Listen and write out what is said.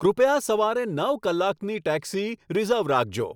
કૃપયા સવારે નવ કલાકની ટેક્સી રીઝર્વ રાખજો